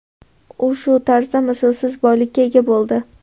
U shu tariqa mislsiz boylikka ega bo‘ldi.